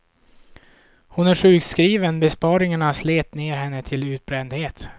Hon är sjukskriven, besparingarna slet ner henne till utbrändhet.